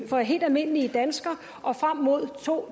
for helt almindelige danskere og frem mod to